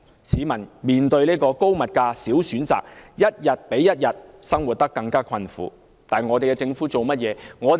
市民面對高物價、少選擇的情況，生活一天比一天困苦，但政府做了甚麼呢？